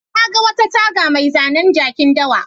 Na ga wata taga mai zanen jakin dawa.